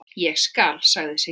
Ég skal, sagði Siggi.